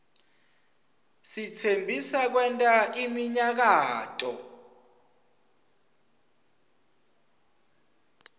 sitsembisa kwenta iminyakato